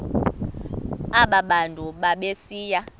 aba bantu babesiya